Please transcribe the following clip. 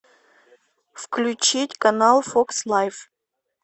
включить канал фокс лайф